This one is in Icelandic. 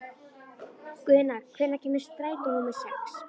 Guðna, hvenær kemur strætó númer sex?